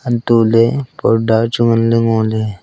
antoh ley parda chu ngan ley ngoley.